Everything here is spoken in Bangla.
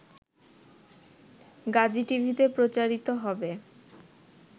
গাজীটিভিতে প্রচারিত হবে